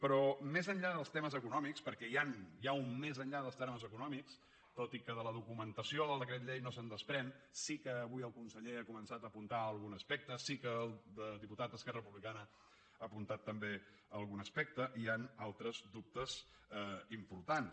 però més enllà dels termes econòmics perquè hi ha un més enllà dels termes econòmics tot i que de la documentació del decret llei no se’n desprèn sí que avui el conseller ha començat a apuntar algun aspecte sí que el diputat d’esquerra republicana ha apuntat també algun aspecte hi han altres dubtes importants